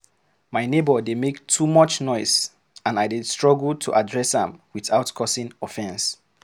My neighbor dey make too much noise, and I dey struggle to address am without causing offense.